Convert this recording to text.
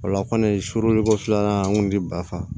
O la kɔni foroko filanan an kun ti bafa